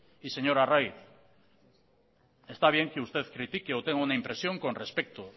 y señor arraiz está bien que usted critique o tenga una impresión con respecto